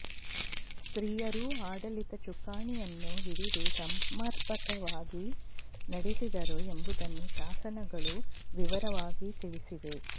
ಸ್ತ್ರೀಯರೂ ಆಡಳಿತ ಚುಕ್ಕಾಣಿಯನ್ನು ಹಿಡಿದು ಸಮರ್ಪಕವಾಗಿ ನಡೆಸಿದರು ಎಂಬುದನ್ನು ಶಾಸನಗಳು ವಿವರವಾಗಿ ತಿಳಿಸಿವೆ